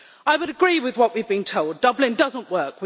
I would agree with what we have been told Dublin does not work.